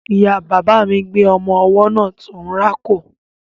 Ìya bàbà mi gbé ọmọ ọwọ́ náà tó ń rákò.